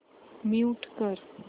mute कर